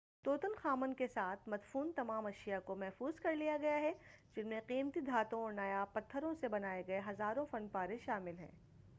طوطن خامن کے ساتھ مدفون تمام اشیاء کو محفوظ کرلیا گیا ہے جن میں قیمتی دھاتوں اور نایاب پتّھروں سے بنائے گئے ہزاروں فن پارے شامِل ہیں